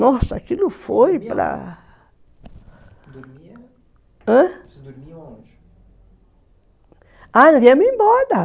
Nossa, aquilo foi para... Você dormia onde? embora